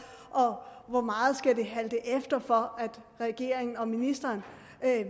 og hvor meget skal det halte efter for at regeringen og ministeren